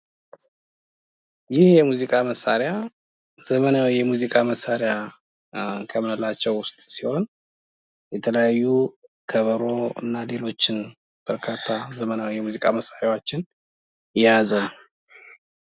ይህ የሙዚቃ መሳሪያ ዘመናዊ የሙዚቃ መሳሪያ ከምንላቸው ውስጥ ሲሆን የተለያዩ ከበሮ እና ሌሎችም ዘመናዊ የሙዚቃ መሳሪያዎችን የያዘ ነው።